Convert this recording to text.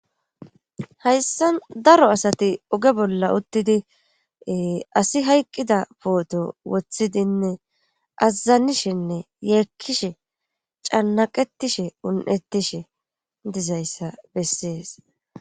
Hayssa daro asati oge bolla uttidi asi hayqqida pooto wothidinne azazanishenne yeekkishe cannaqetishe un'ettishe dizayssa bessees.